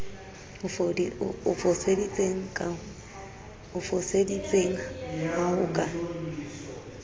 o foseditseng ha ho ka